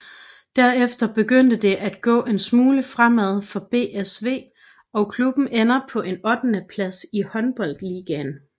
Derefter begyndte det at gå en smule fremad for BSV og klubben ender på en ottende plads i håndboldligaen